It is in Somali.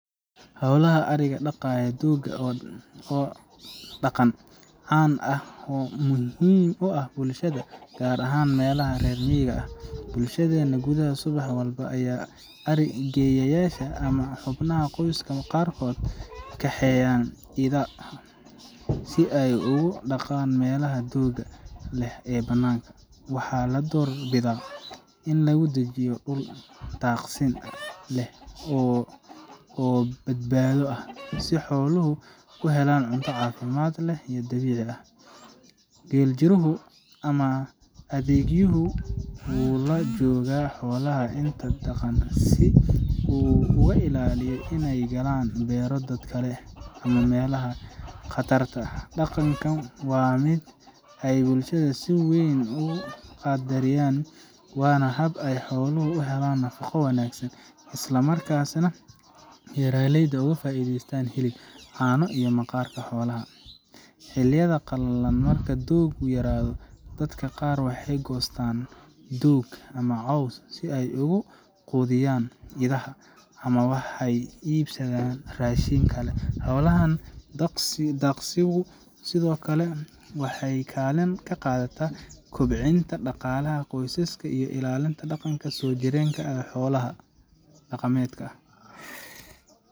Hawlaha adhiga daaqaya doogga waa dhaqan caan ah oo muhiim u ah bulshada, gaar ahaan meelaha reer miyiga ah. Bulshadeena gudaheeda, subax walba ayaa adhi geeyayaasha ama xubnaha qoyska qaarkood waxay kaxeeyaan idaha si ay ugu daaqaan meelaha doogga leh ee bannaanka. Waxaa la doorbidaa in lagu daajiyo dhul daaqsin leh oo badbaado ah, si xooluhu u helaan cunto caafimaad leh oo dabiici ah. Geeljiruhu ama adhigeeyuhu wuu la joogaa xoolaha inta ay daaqayaan, si uu uga ilaaliyo inay galaan beero dad kale ama meelaha khatarta ah. Dhaqankan waa mid ay bulshada si weyn u qadariyaan, waana hab ay xooluhu u helaan nafaqo wanaagsan, isla markaana beeraleyda uga faa’iidaystaan hilib, caano, iyo maqaarka xoolaha. Xilliyada qalalan, marka dooggu yaraado, dadka qaar waxay goostaan doog ama caws si ay ugu quudiyaan idaha, ama waxay iibsadaan raashin kale. Hawshan daaqsigu sidoo kale waxay kaalin ka qaadataa kobcinta dhaqaalaha qoysaska iyo ilaalinta dhaqanka soojireenka ah ee xoolo dhaqashada.